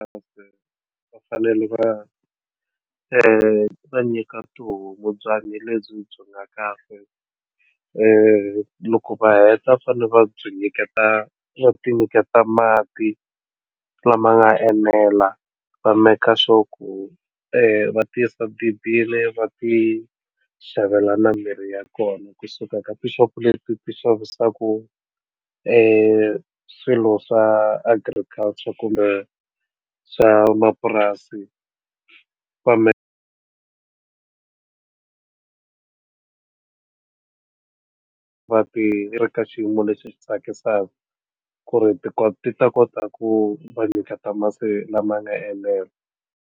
Va fanele va va nyika tihomu byanyi lebyi nga kahle loko va heta va fanele va byi nyiketa va ti nyiketa mati lama nga enela va make sure ti yisa dibini va ti xavela na mimirhi ya kona kusuka ka tixopo leti ti xavisaku i swilo swa agriculture kumbe swa mapurasi kambe va ti ri ka xiyimo lexi tsakisaka ku ri ti kona ti ta kota ku va nyiketa masi lama nga endlela.